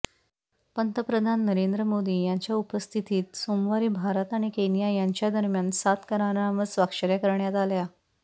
पंतप्रधान नरेंद्र मोदी यांच्या उपस्थितीत सोमवारी भारत आणि केनिया यांच्यादरम्यान सात करारांवर स्वाक्षऱ्या करण्यात आल्या